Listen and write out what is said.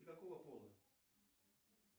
ты какого пола